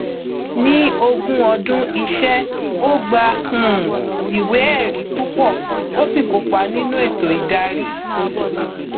ní ogún ọdún iṣẹ ó gba um iwéẹrí púpọ ó sì kópa nínú ètò ìdarí